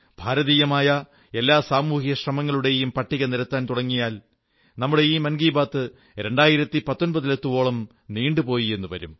ഭരതീയമായ എല്ലാ സാമൂഹിക ശ്രമങ്ങളുടെയും പട്ടിക നിരത്താൻ തുടങ്ങിയാൽ നമ്മുടെ മൻ കീ ബാത് 2019 ലെത്തുവോളും നീണ്ടുപോയെന്നു വരും